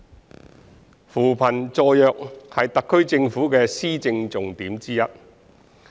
二扶貧助弱是特區政府的施政重點之一。